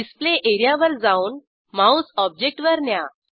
display एरियावर जाऊन mouse ऑब्जेक्टवर न्या